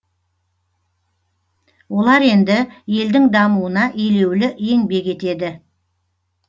олар енді елдің дамуына елеулі еңбек етеді